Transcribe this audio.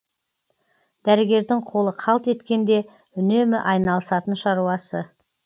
дәрігердің қолы қалт еткенде үнемі айналысатын шаруасы